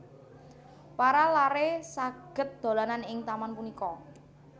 Para laré saged dolanan ing taman punika